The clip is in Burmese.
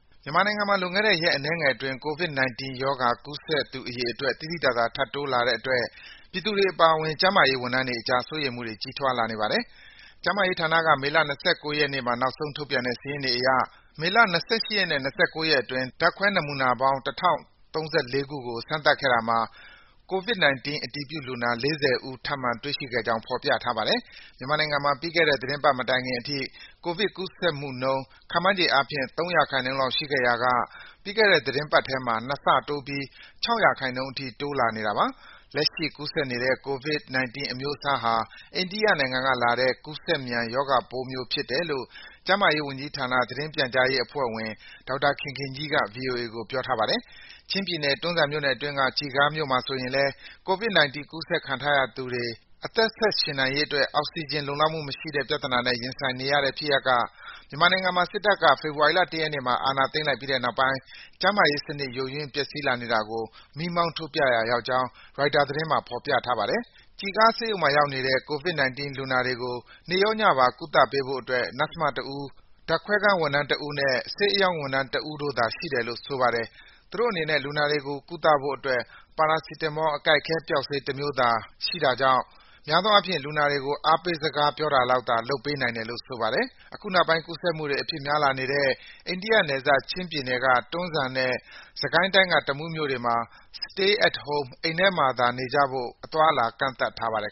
မြန်မာနိုင်ငံမှာ လွန်ခဲ့တဲ့ ရက်အနည်းငယ်အတွင်း COVID-19 ရောဂါ ကူးစက်သူ အရေအတွက် သိသိသာသာ ထပ်တိုးလာနေတဲ့အတွက် ပြည်သူတွေအပါအဝင် ကျန်းမာရေးဝန်ထမ်းတွေအကြား စိုးရိမ်မှုတွေ ကြီးထွားလာနေပါတယ်။ ကျန်းမာရေးဌာနက မေလ ၂၉ ရက်နေ့မှာ နောက်ဆုံးထုတ်ပြန်တဲ့ စာရင်းတွေအရ မေလ ၂၈ ရက်နဲ့ ၂၉ ရက်အတွင်း ဓာတ်ခွဲနမူနာပေါင်း ၁,၀၃၄ ခုကို စမ်းသပ်ခဲ့တာမှာ COVID-19 အတည်ပြုလူနာ ၄၀ ဦး ထပ်မံတွေ့ရှိခဲ့ကြောင်း ဖော်ပြထားပါတယ်။ မြန်မာနိုင်ငံမှာ ပြီးခဲ့တဲ့သီတင်းပတ် မတိုင်ခင်အထိ ကိုဗစ်ကူးစက်မှုနှုန်း ခန့်မှန်းခြေအားဖြင့် ၃ ရာခိုင်နှုန်းလောက် ရှိနေခဲ့ရာက ပြီးခဲ့တဲ့ သီတင်းပတ်ထဲမှာ ၂ ဆတိုးပြီး ၆ ရာခိုင်နှုန်းအထိ ရှိလာနေတာပါ။ လက်ရှိ ကူးစက်နေတဲ့ COVID-19 အမျိုးအစားဟာ အိန္ဒိယကလာတဲ့ ကူးစက်မြန် ရောဂါပိုးတမျိုး ဖြစ်တယ်လို့ ကျန်းမာရေးဝန်ကြီးဌာန သတင်းပြန်ကြားရေးအဖွဲ့ဝင် ဒေါက်တာခင်ခင်ကြီးက ဗွီအိုအေကို ပြောထားပါတယ်။ ချင်းပြည်နယ်၊ တွန်းဇံခရိုင်အတွင်းက ကျီခါးမြို့မှာဆိုရင်လည်း COVID-19 ကူးစက်ခံထားရသူတွေ အသက်ဆက်ရှင်နိုင်ရေးအတွက် အောက်ဆီဂျင် လုံလောက်မှုမရှိတဲ့ ပြဿနာနဲ့ ရင်ဆိုင်နေရတဲ့ဖြစ်ရပ်က မြန်မာနိုင်ငံမှာ စစ်တပ်က ဖေဖော်ဝါရီလ ၁ ရက်နေ့မှာ အာဏာသိမ်းလိုက်ပြီးတဲ့နောက်ပိုင်း ကျန်းမာရေးစနစ် ယိုယွင်း ပျက်စီးလာနေတာကို မီးမောင်းထိုးပြရာရောက်ကြောင်း ရိုက်တာသတင်းမှာ ဖော်ပြထားပါတယ်။ ကျီခါးဆေးရုံမှာရောက်နေတဲ့ COVID-19 လူနာတွေကို နေ့ရောညပါ ကုသပေးဖို့အတွက် နာ့စ်မတဦး၊ ဓာတ်ခွဲခန်းဝန်ထမ်းတဦးနဲ့ ဆေးအရောင်းဝန်ထမ်း တဦးတို့သာ ရှိတယ်လို့ ဆိုပါတယ်။ သူတို့အနေနဲ့ လူနာတွေကို ကုသဖို့အတွက် ပါရာစီတမော အကိုက်အခဲပျောက်ဆေးတမျိုးသာ ရှိတာကြောင့် များသောအားဖြင့် လူနာတွေကို အားပေးစကားပြောတာလောက်သာ လုပ်နိုင်တယ်လို့ ဆိုပါတယ်။ အခုနောက်ပိုင်း ကူးစက်မှုတွေ အဖြစ်များလာနေတဲ့ အိန္ဒိယနယ်စပ် ချင်းပြည်နယ်က တွန်းဇံနဲ့ စစ်ကိုင်းတိုင်းက တမူးမြို့တွေမှာ Stay at Home အိမ်ထဲမှာနေကြဖို့ အသွားအလာ ကန့်သတ်ထားပါတယ်